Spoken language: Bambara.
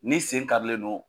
N'i sen karilen no